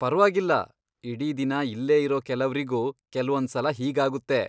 ಪರ್ವಾಗಿಲ್ಲ, ಇಡೀ ದಿನ ಇಲ್ಲೇ ಇರೋ ಕೆಲವ್ರಿಗೂ ಕೆಲ್ವೊಂದ್ಸಲ ಹೀಗಾಗುತ್ತೆ.